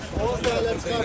yavaş-yavaş.